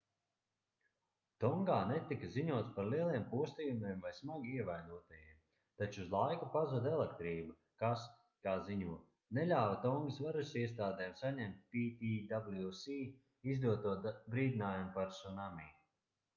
tongā netika ziņots par lieliem postījumiem vai smagi ievainotajiem taču uz laiku pazuda elektrība kas kā ziņo neļāva tongas varasiestādēm saņemt ptwc izdoto brīdinājumu par cunami